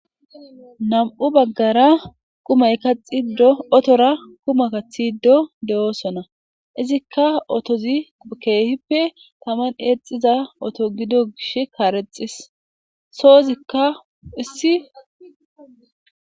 Nam'u baggara qumay kaxi dotora kuma kathi iddo de'oosona izikka otozi keehippe taman eexiza oto gido gish kaarexxis soozikka issi.